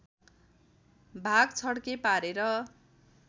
भाग छ्ड्के पारेर